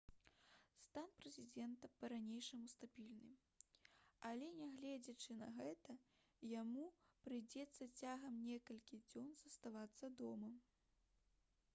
стан прэзідэнта па-ранейшаму стабільны але нягледзячы на гэта яму прыйдзецца цягам некалькіх дзён заставацца дома